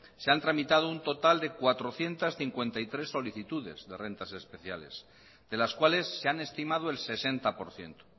se han tramitado un total de cuatrocientos cincuenta y tres solicitudes de rentas especiales de las cuales se han estimado el sesenta por ciento